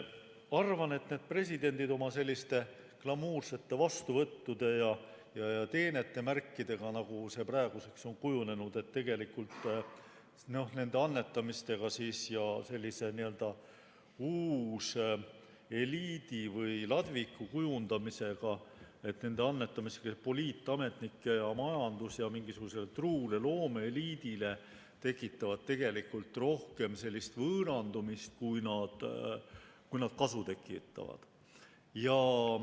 Arvan, et presidendid oma glamuursete vastuvõttudega, nagu see praeguseks on kujunenud, ja sellise n-ö uuseliidi või ladviku kujundamisega, teenetemärkide annetamisega, poliitametnikele majandus- ja mingisugusele truule loomeeliidile tekitavad tegelikult rohkem võõrandumist, kui nad kasu tekitavad.